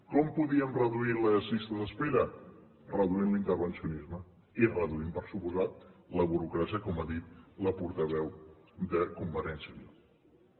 com podíem reduir les llistes d’espera reduint l’intervencionisme i reduint per descomptat la burocràcia com ha dit la portaveu de convergència i unió